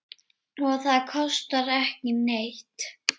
Og það kostar ekki neitt.